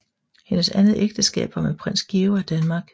Hendes andet ægteskab var med Prins Georg af Danmark